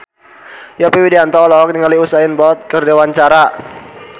Yovie Widianto olohok ningali Usain Bolt keur diwawancara